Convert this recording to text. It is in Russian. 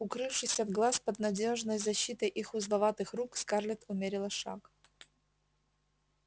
укрывшись от глаз под надёжной защитой их узловатых рук скарлетт умерила шаг